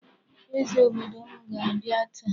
Eze obodo m ga-abịa taa.